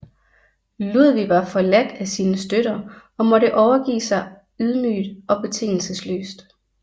Ludvig var forladt af sine støtter og måtte overgive sig ydmyget og betingelsesløst